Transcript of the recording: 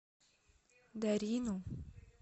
дарину